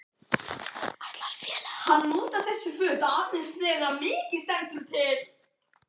Ætlar félagið að bjóða Grétari Hjartarsyni samning?